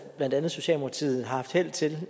herunder socialdemokratiet har haft held til